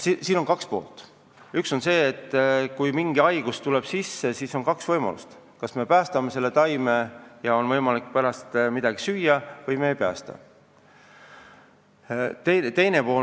Kui taimi tabab mingi haigus, siis on kaks võimalust: kas me päästame taimed ja meil on võimalik pärast midagi süüa või me ei päästa neid.